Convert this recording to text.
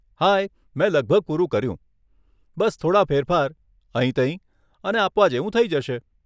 હાય, મેં લગભગ પૂરું કર્યું, બસ થોડાં ફેરફાર, અહીંતહીં, અને આપવા જેવું થઇ જશે.